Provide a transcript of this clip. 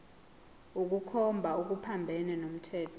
ukukhomba okuphambene nomthetho